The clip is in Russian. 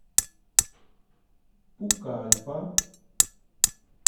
пукальпа